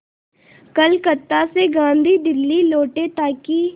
कलकत्ता से गांधी दिल्ली लौटे ताकि